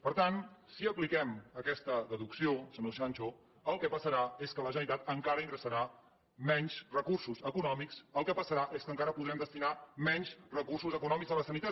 per tant si apliquem aquesta deducció senyor sancho el que passarà és que la generalitat encara ingressarà menys recursos econòmics el que passarà és que encara podrem destinar menys recursos econòmics a la sanitat